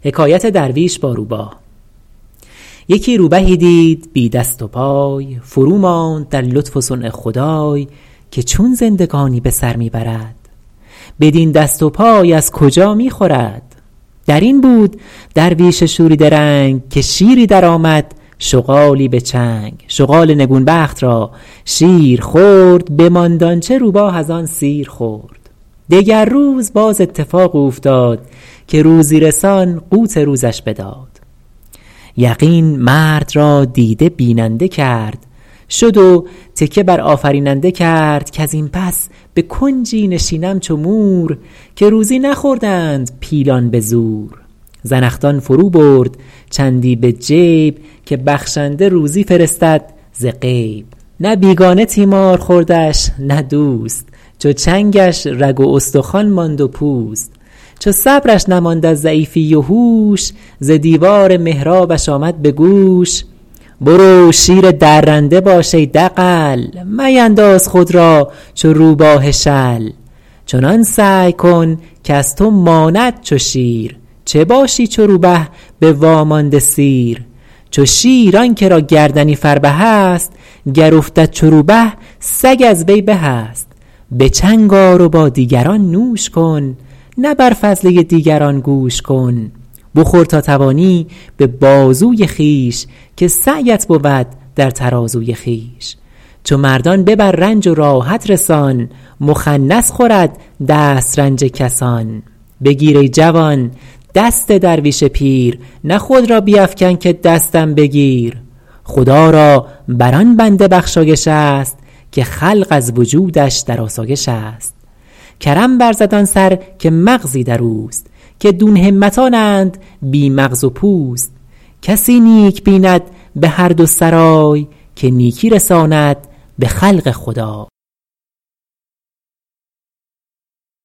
یکی روبهی دید بی دست و پای فروماند در لطف و صنع خدای که چون زندگانی به سر می برد بدین دست و پای از کجا می خورد در این بود درویش شوریده رنگ که شیری درآمد شغالی به چنگ شغال نگون بخت را شیر خورد بماند آنچه روبه از آن سیر خورد دگر روز باز اتفاق اوفتاد که روزی رسان قوت روزش بداد یقین مرد را دیده بیننده کرد شد و تکیه بر آفریننده کرد کز این پس به کنجی نشینم چو مور که روزی نخوردند پیلان به زور زنخدان فرو برد چندی به جیب که بخشنده روزی فرستد ز غیب نه بیگانه تیمار خوردش نه دوست چو چنگش رگ و استخوان ماند و پوست چو صبرش نماند از ضعیفی و هوش ز دیوار محرابش آمد به گوش برو شیر درنده باش ای دغل مینداز خود را چو روباه شل چنان سعی کن کز تو ماند چو شیر چه باشی چو روبه به وامانده سیر چو شیر آن که را گردنی فربه است گر افتد چو روبه سگ از وی به است به چنگ آر و با دیگران نوش کن نه بر فضله دیگران گوش کن بخور تا توانی به بازوی خویش که سعیت بود در ترازوی خویش چو مردان ببر رنج و راحت رسان مخنث خورد دسترنج کسان بگیر ای جوان دست درویش پیر نه خود را بیفکن که دستم بگیر خدا را بر آن بنده بخشایش است که خلق از وجودش در آسایش است کرم ورزد آن سر که مغزی در اوست که دون همتانند بی مغز و پوست کسی نیک بیند به هر دو سرای که نیکی رساند به خلق خدای